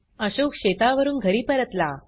अशोक शेतावरून घरी परतला